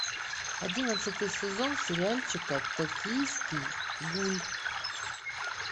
одиннадцатый сезон сериальчика токийский гуль